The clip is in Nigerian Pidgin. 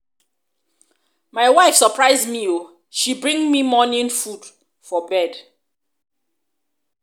my wife surprise me oo she bring me morning food for bed.